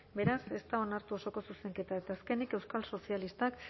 beraz ez da onartu osoko zuzenketa eta azkenik euskal sozialistak